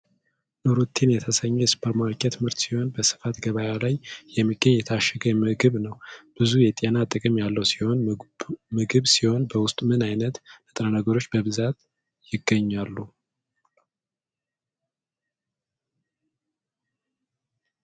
ኑረቴን የተሰኘ የ ሱፐርማርኬት ምርት ሲሆን በስፋት ገበያ ላይ የሚገኝ የታሸገ ምግብ ነው። ብዙ የጤና ጥቅም ያለው ሲሆን ምግብ ሲሆን በውስጡ ምን አይነት ንጥረ ነገሮች በብዛት ይይዛል?